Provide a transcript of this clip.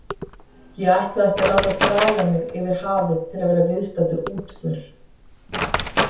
Ég ætlaði ekki að láta draga mig yfir hafið til að vera viðstaddur útför.